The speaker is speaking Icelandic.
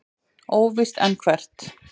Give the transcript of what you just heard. Óvíst er hvert.